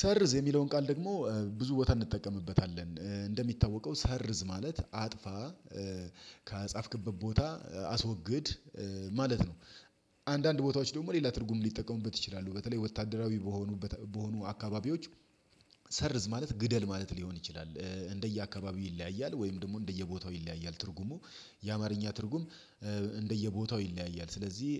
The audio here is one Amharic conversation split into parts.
ሰርዝ የሚለውን ቃል ደግሞ ብዙ ቦታ እንጠቀምበታለን እንደሚታወቀው ሰርዝ ማለት አጥፋ ከጻፍክበት ቦታ አስወግድ ማለት ነው። አንዳንድ ቦታዎች ደግሞ ሌላ ትርጉም ሊጠቀሙበት ይችላሉ በተለይ ወታደራዊ በሆኑ በሆኑ አካባቢዎች ሰርዝ ማለት ግደል ማለት ሊሆን ይችላል እንደየአካባቢው ይለያያል ወይም ደግሞ እንደየቦታው ይለያያል ትርጉሙ የአማርኛ ትርጉም እንደየቦታው ይለያያል። ስለዚህ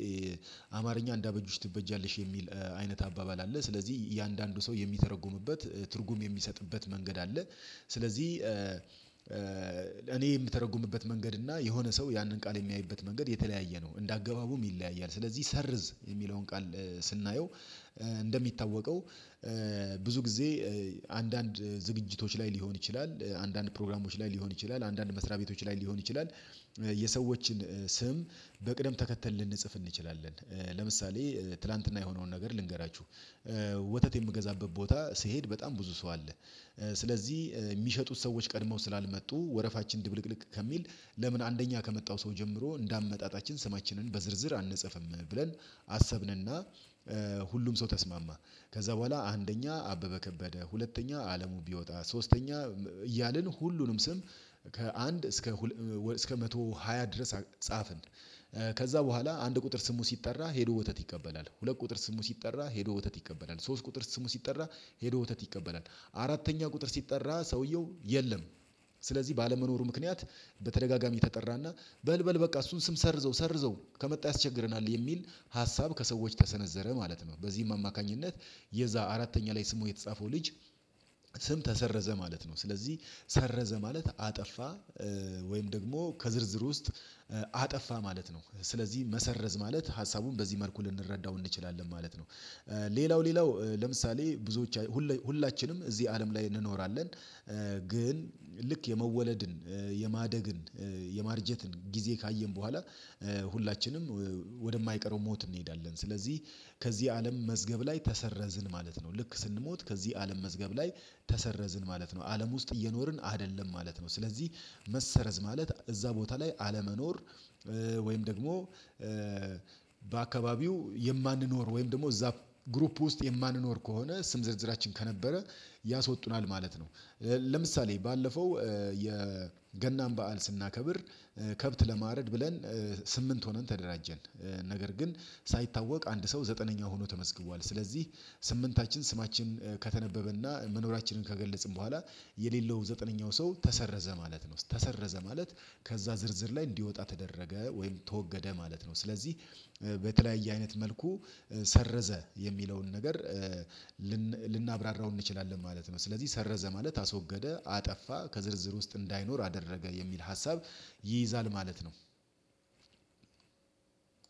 አማርኛ እንደ አበጁሽ ትበጃለሽ የሚል አይነት አባባል አለ ስለዚህ እያንዳንዱ ሰው የሚተረጉምበት ትርጉም የሚሰጥበት መንገድ አለ። ስለዚህ እኔ የምተረጉምበት መንገድ እና የሆነ ሰው ያንን ቃል የሚያይበት መንገድ የተለያየ ነው እንደ አገባቡም ይለያያል። ስለዚህ ሰርዝ የሚለውን ቃል ስናየው እንደሚታወቀው ብዙ ጊዜ አንዳንድ ዝግጅቶች ላይ ሊሆን ይችላል አንዳንድ ፕሮግራሞች ላይ ሊሆን ይችላል አንዳንድ መስሪያ ቤቶች ላይ ሊሆን ይችላል የሰዎችን ስም በቅደም ተከተል ልንጽፍ እንችላለን ለምሳሌ ትላንትና የሆነውን ነገር ልንገራችሁ። ወተት የምገዛበት ቦታ ስሄድ በጣም ብዙ ሰው አለ ስለዚህ የሚሸጡት ሰዎች ቀድመው ስላልመጡ ወረፋችን ድብልቅልቅ ከሚል ለምን አንደኛ ከመጣው ሰው ጀምሮ እንደ አመጣጣችን ስማችንን በዝርዝር አንጸፍም ብለን አሰብንና ሁሉም ሰው ተስማማ። ከዛ በኋላ አንደኛ አበበ ከበደ ሁለተኛ አለሙ ቢወጣ ሶስተኛ እያልን ሁሉንም ስም ከአንድ እስከ ሁለ እስከ መቶ ሃያ ድረስ ጻፍን። ከዛ በኋላ አንድ ቁጥር ስሙ ሲጠራ ሄዶ ወተት ይቀበላል ሁለት ቁጥር ስሙ ሲጠራ ሄዶ ወተት ይቀበላል ሶስት ቁጥር ስሙ ሲጠራ ሄዶ ወተት ይቀበላል አራተኛ ቁጥር ሲጠራ ሰውየው የለም። ስለዚህ ባለመኖሩ ምክንያት በተደጋጋሚ ተጠራና በል በል በቃ እሱን ስም ሰርዘው ሰርዘው ከመጣ ያስቸግረናል የሚል ሀሳብ ከሰዎች ተሰነዘረ ማለት ነው በዚህም አማካኝነት የዛ አራተኛ ላይ ስሙ የተጻፈው ልጅ ስም ተሰረዘ ማለት ነው። ስለዚህ ሰረዘ ማለት አጠፋ ወይም ደግሞ ከዝርዝር ውስጥ አጠፋ ማለት ነው ስለዚህ መሰረዝ ማለት ሀሳቡን በዚህ መልኩ ልንረዳው እንችላለን ማለት ነው። ሌላው ሌላው ለምሳሌ ብዙዎች ሁላችንም እዚህ አለም ላይ እንኖራለን ግን ልክ የመወለድን የማደግን የማርጀትን ጊዜ ካየን በኋላ ሁላችንም ወደ የማይቀረው ሞት እንሄዳለን። ስለዚህ ከዚህ አለም መዝገብ ላይ ተሰረዝን ማለት ነው ልክ ስንሞት ከዚህ አለም መዝገብ ላይ ተሰረዝን ማለት ነው አለም ውስጥ እየኖርን አይደለም ማለት ነው። ስለዚህ መሰረዝ ማለት እዛ ቦታ ላይ አለመኖር ወይም ደግሞ በአካባቢው የማንኖር ወይም ደግሞ እዛ ግሩፕ ውስጥ የማንኖር ከሆነ ስም ዝርዝራችን ከነበረ ያስወጡናል ማለት ነው። ለምሳሌ ባለፈው የገናን በዓል ስናከብር ከብት ለማረድ ብለን ስምንት ሆነን ተደራጀን ነገር ግን ሳይታወቅ አንድ ሰው ዘጠነኛ ሆኖ ተመስግቧል ስለዚህ ስምንታችን ስማችን ከተነበበና መኖራችንን ከገለጽን በኋላ የሌለው ዘጠነኛው ሰው ተሰረዘ ማለት ነው። ተሰረዘ ማለት ከዛ ዝርዝር ላይ እንዲወጣ ተደረገ ወይም ተወገደ ማለት ነው። ስለዚህ በተለያየ አይነት መልኩ ሰረዘ የሚለውን ነገር ልናብራራው እንችላለን ማለት ነው። ስለዚህ ሰረዘ ማለት አስወገደ አጠፋ ከዝርዝር ውስጥ እንዳይኖር አደረገ የሚል ሀሳብ ይይዛል ማለት ነው።